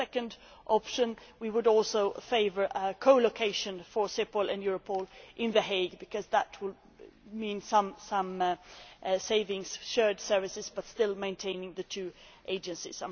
As a second option we would also favour co location for Cepol and Europol in The Hague because that would mean some savings shared services but still maintaining the two agencies.